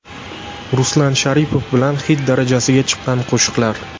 Ruslan Sharipov bilan xit darajasiga chiqqan qo‘shiqlar .